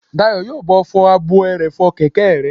Dayọ̀ yóò bá ọ fọ ààbò ẹrọ̀fọ̀ kẹ̀kẹ́ rẹ